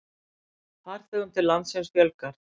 Farþegum til landsins fjölgar